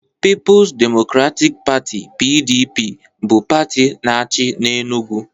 Pipo's Democratic Pati (PDP) bụ pati na-achị n'Enugwu